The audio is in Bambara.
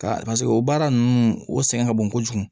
Ka o baara ninnu o sɛgɛn ka bon kojugu